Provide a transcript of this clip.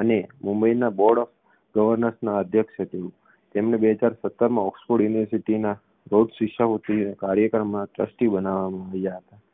અને મુંબઈના board of governors ના અધ્યક્ષ છે તેમને બે હજાર સત્તરમાં oxford university ના રોડ શિષ્યવૃત્તિ કાર્યક્રમના ટ્રસ્ટી બનાવવામાં આવ્યા